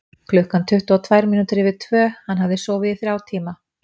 Klukkan var tuttugu og tvær mínútur yfir tvö, hann hafði sofið í þrjá tíma.